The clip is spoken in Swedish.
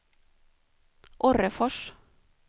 Orrefors